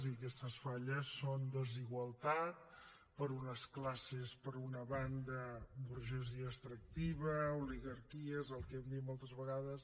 i aquestes falles són desigualtat per a unes classes per una banda burgesia extractiva oligarquies el que hem dit moltes vegades